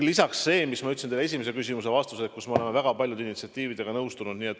Lisaks see, mis ma ütlesin teie esimese küsimuse vastuseks, et me oleme väga paljude initsiatiividega nõustunud.